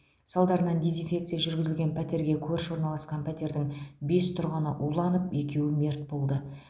салдарынан дезинфекция жүргізілген пәтерге көрші орналасқан пәтердің бес тұрғыны уланып екеуі мерт болды